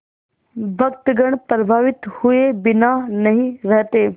भक्तगण प्रभावित हुए बिना नहीं रहते